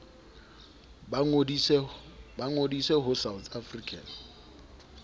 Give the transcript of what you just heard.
ba ngodise ho south african